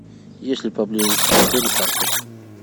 есть ли поблизости к отелю парки